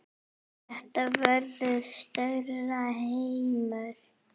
Þetta verður stærri heimur.